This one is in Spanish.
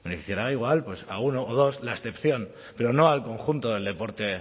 beneficiará igual pues a uno o dos la excepción pero no al conjunto del deporte